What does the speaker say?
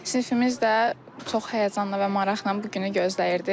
Sinifimiz də çox həyəcanla və maraqla bu günü gözləyirdi.